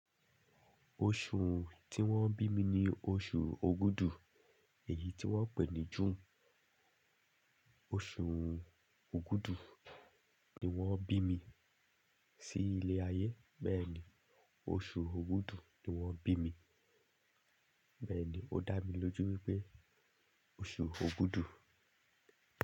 Oṣù tí wón bí mi ni oṣù Ògùdù, èyí tí wón pè ní June. Oṣù Ògùdù ni wón bí mi sí ilé ayé, bẹ́ẹ̀ ni oṣù Ògùdù ni wón bí mi, bẹ́ẹ̀ ni ó dá mi lójú wípé oṣù Ògùdù.